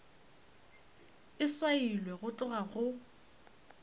e swailwe go tloga go